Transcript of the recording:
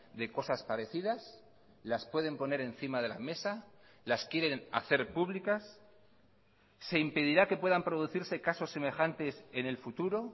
de cosas parecidas las pueden poner encima de la mesa las quieren hacer públicas se impedirá que puedan producirse casos semejantes en el futuro